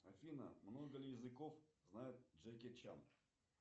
афина много ли языков знает джеки чан